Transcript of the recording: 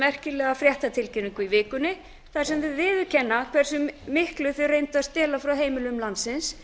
merkilega fréttatilkynningu í vikunni þar sem þau viðurkenna hversu miklu þau reyndu að stela frá heimilum landsins